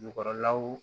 Jukɔrɔlaw